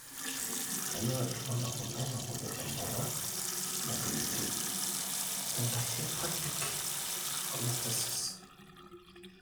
kainyio irbulabul onaapuku emboron naigiligil intrahepatic cholestasis?